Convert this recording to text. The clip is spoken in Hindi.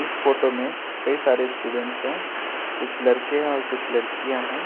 इस फोटो में कई सारे स्टूडेंट है कुछ लड़के है और कुछ लड़कियां हैं।